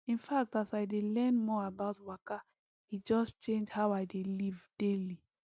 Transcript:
in fact as i dey learn more about waka e just change how i dey live daily